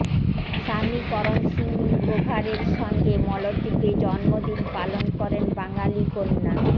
স্বামী করণ সিং গ্রোভারের সঙ্গে মলদ্বীপে জন্মদিন পালন করেন বাঙালি কন্যা